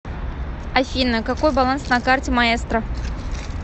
афина какой баланс на карте маэстро